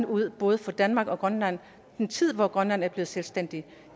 ud både for danmark og grønland i en tid hvor grønland er blevet selvstændigt